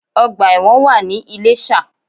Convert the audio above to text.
Ọgbà ẹ̀wọ̀n wà ní Iléshà